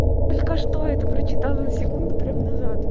только что это прочитала секунду прям назад